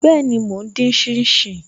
Be, mo ń din shin shin